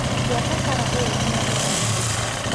buata bara ĩyo nginya ũkinye mũico.